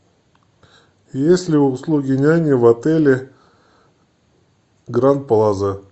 есть ли услуги няни в отеле гранд плаза